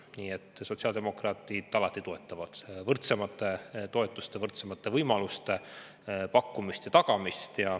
Nii et sotsiaaldemokraadid toetavad alati võrdsemate toetuste, võrdsemate võimaluste pakkumist ja tagamist.